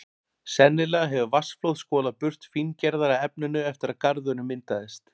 Sennilega hefur vatnsflóð skolað burt fíngerðara efninu eftir að garðurinn myndaðist.